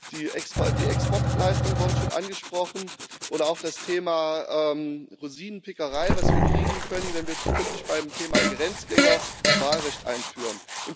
Die Exportleistungen wurden schon angesprochen, oder auch das Thema Rosinenpickerei, was wir kriegen können, wenn wir zukünftig beim Thema Grenzgänger das Wahlrecht einführen.